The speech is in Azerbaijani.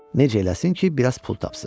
Necə eləsin ki, biraz pul tapsın.